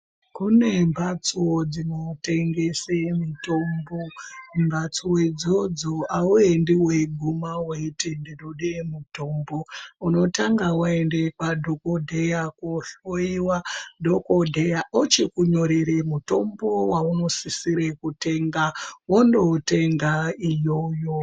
Kune mhatso dzinotengese mitombo. Mhatso idzodzo hauendi weiguma weiti ndinode mutombo, unotanga waende kwadhogodheya kohloyiwa, dhogodheya ochikunyorere mutombo weunosise kutenga, wondoutenga iyoyo.